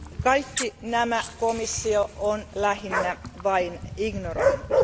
Kaikki nämä komissio on lähinnä vain ignoroinut.